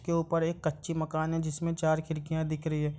उसके ऊपर एक कच्ची मकान है जिसमें चार खिड़कियां दिख रही है।